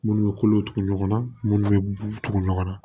Munnu bɛ kolo tugu ɲɔgɔn na munnu bɛ tugu ɲɔgɔn na